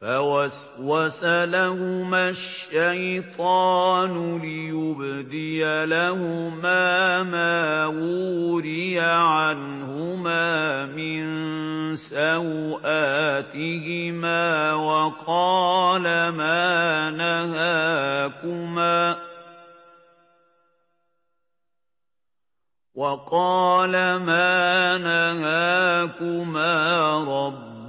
فَوَسْوَسَ لَهُمَا الشَّيْطَانُ لِيُبْدِيَ لَهُمَا مَا وُورِيَ عَنْهُمَا مِن سَوْآتِهِمَا وَقَالَ مَا نَهَاكُمَا